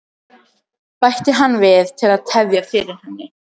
bætti hann við til að tefja fyrir henni.